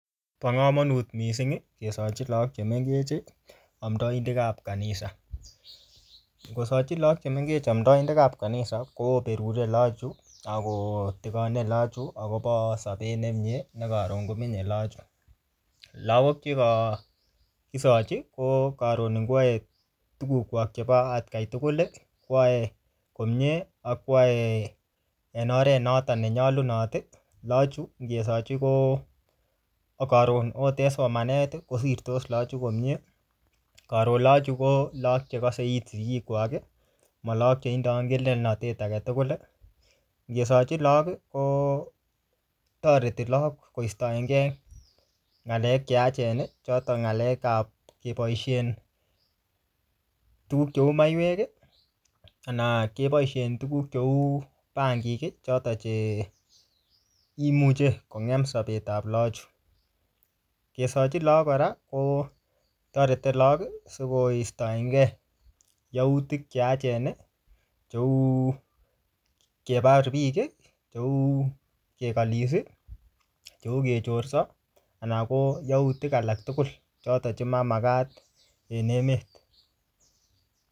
Bo komonut missing, kesochi lagok che mengech amdaidek ap kanisa. Ngosachi laok che mengech amdoidekap kanisa, koberuri lagok chu, akotikoni lagok chu, akobo sapet nemiee ne karon komenye lagok chu. Lagok chukokisochi, ko karon ngwae tuguk kwak chebo atkai tugul, kwae komyee, akwae en oret noton ne nyolunot. Lagok chu, ngesochi ko-ko karon akote somanet, kosirtos lagokchu komyee. Karon lagok chu ko, karon lagok chekase it sigik kwak, ma lagok che indoi ngelelnatet age tugul. Ngesochi lagok kotoreti lagok koistoengei ng'alek che yachen, choton ng'alekap kebosien tuguk cheu maiwek, anan keboisie tuguk cheu bangik, chotok che imuche kongem sapetap lagok chu. Kesochi lagok kora, kotorete lagok sikoistoengei yautik che yachen, cheu kebar biik, cheu kekalis, cheu kechorso, anan ko yautik alak tugul chotok che mamagat en emet.